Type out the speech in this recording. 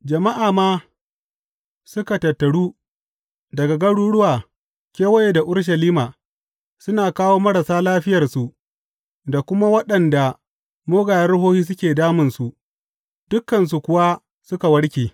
Jama’a ma suka tattaru daga garuruwa kewaye da Urushalima suna kawo marasa lafiyarsu da kuma waɗanda mugayen ruhohi suke damun su, dukansu kuwa suka warke.